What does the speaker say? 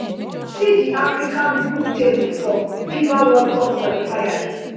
see di african group table for fifa world cup qualifiers